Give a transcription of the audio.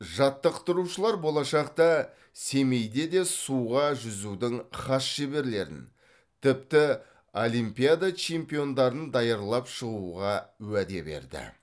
жаттықтырушылар болашақта семейде де суға жүзудің хас шеберлерін тіпті олимпиада чемпиондарын даярлап шығуға уәде берді